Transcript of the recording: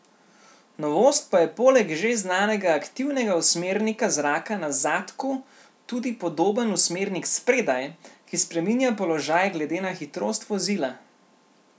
Novost pa je poleg že znanega aktivnega usmernika zraka na zadku tudi podoben usmernik spredaj, ki spreminja položaj glede na hitrost vozila.